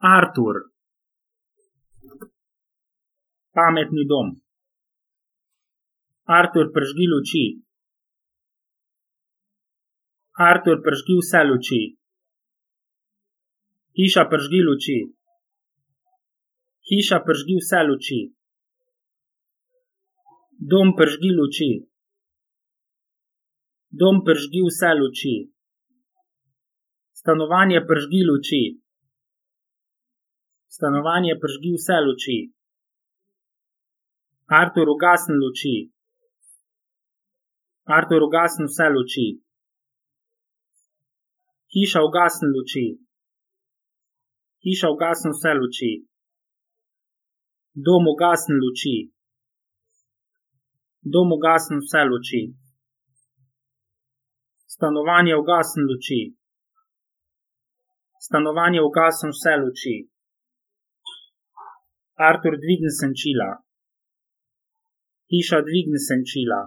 Artur. Pametni dom. Artur, prižgi luči. Artur, prižgi vse luči. Hiša, prižgi luči. Hiša, prižgi vse luči. Dom, prižgi luči. Dom, prižgi vse luči. Stanovanje, prižgi luči. Stanovanje, prižgi vse luči. Artur, ugasni luči. Artur, ugasni vse luči. Hiša, ugasni luči. Hiša, ugasni vse luči.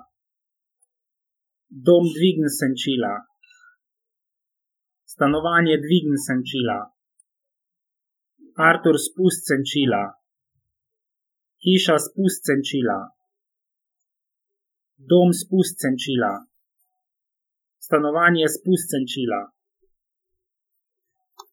Dom, ugasni luči. Dom, ugasni vse luči. Stanovanje, ugasni luči. Stanovanje, ugasni vse luči. Artur, dvigni senčila. Hiša, dvigni senčila. Dom, dvigni senčila. Stanovanje, dvigni senčila. Artur, spusti senčila. Hiša, spusti senčila. Dom, spusti senčila. Stanovanje, spusti senčila.